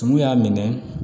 Tumu y'a minɛ